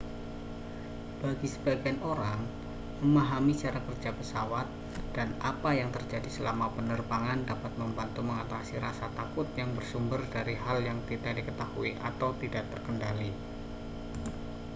bagi sebagian orang memahami cara kerja pesawat dan apa yang terjadi selama penerbangan dapat membantu mengatasi rasa takut yang bersumber dari hal yang tidak diketahui atau tidak terkendali